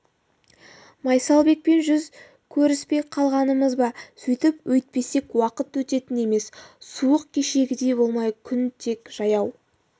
майсалбекпен жүз көріспей қалғанымыз ба сөйтіп өйтпесек уақыт өтетін емес суық кешегідей болмай күн тек жаяу